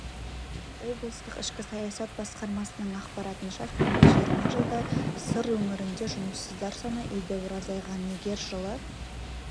облыстық ішкі саясат басқармасының ақпаратынша соңғы жиырма жылда сыр өңірінде жұмыссыздар саны едәуір азайған егер жылы